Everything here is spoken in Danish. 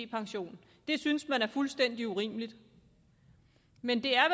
pension synes man er fuldstændig urimeligt men det er